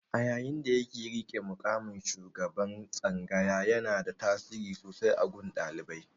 A yayin da yake riƙe da muƙamin shugaban tsangayar, yanada tasiri sosai a gun ɗaliban.